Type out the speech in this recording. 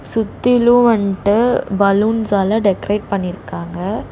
சுத்திலு வன்ட்டு பலூன்ஸ் ஆள டெகரேட் பண்ணிருக்காங்க.